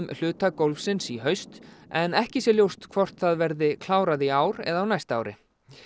hluta gólfsins í haust en ekki sé ljóst hvort það verði klárað í ár eða á næsta ári